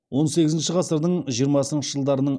он сегізінші ғасырдың жиырмасыншы жылдарының